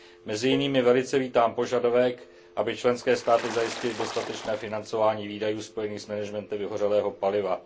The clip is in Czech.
Mezi jinými velice vítám požadavek, aby členské státy zajistily dostatečné financování výdajů spojených s managementem vyhořelého paliva.